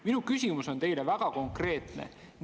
Minu küsimus teile on väga konkreetne.